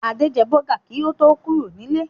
Adé jẹ bọ́gà kí a tó kúrò nílé.